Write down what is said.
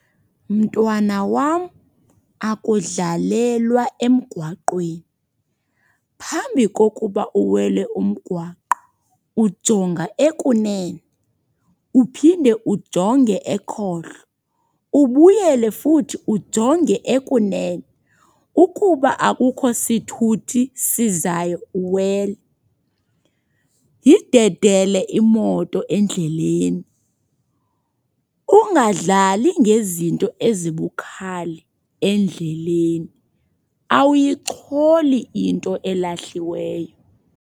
Mntwana wam, akudlalelwa emgwaqweni. Phambi kokuba uwele umgwaqo, ujonga ekunene uphinde ujonge ekhohlo, ubuyele futhi ujonge ekunene. Ukuba akukho sithuthi sizayo uwele. Yidedele imoto endleleni. Ungadlali ngezinto ezibukhali endleleni. Awuyicholi into elahliweyo.